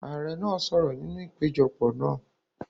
Ààrẹ náà sọ̀rọ̀ nínú ìpéjọpọ̀ náà.